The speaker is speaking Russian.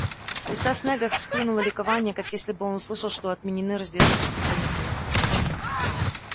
с лица снегга схлынуло ликование как если бы он услышал что отменены рождественские каникулы